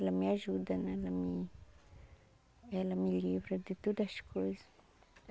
Ela me ajuda né, ela me ela me livra de todas as coisa.